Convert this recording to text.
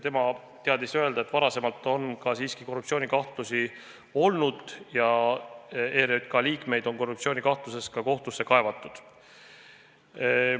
Tema teadis öelda, et varem on siiski korruptsioonikahtlusi olnud ja ERJK liikmeid on korruptsioonikahtluse tõttu ka kohtusse kaevatud.